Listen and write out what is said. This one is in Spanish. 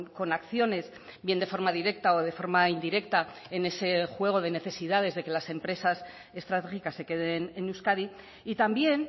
con acciones bien de forma directa o de forma indirecta en ese juego de necesidades de que las empresas estratégicas se queden en euskadi y también